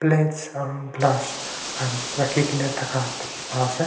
aru glass khan rakhikaena thaka dikhipa ase--